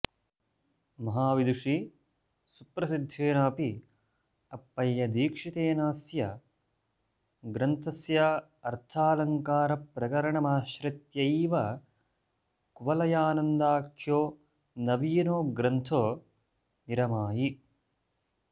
महाविदुषी सुप्रसिद्धेनाऽपि अप्पयदीक्षितेनास्य ग्रन्थस्यार्थालङ्कारप्रकरणमाश्रित्यैव कुवलयानन्दाख्यो नवीनो ग्रन्थो निरमायि